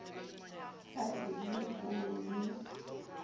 ha e le bo le